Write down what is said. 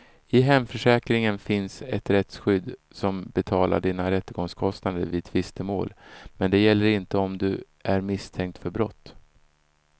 I hemförsäkringen finns ett rättsskydd som betalar dina rättegångskostnader vid tvistemål, men det gäller inte om du är misstänkt för brott.